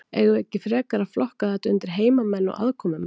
Eigum við ekki frekar að flokka þetta undir heimamenn og aðkomumenn?